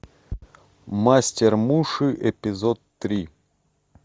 мастер муши эпизод три